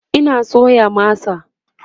Ina soya masa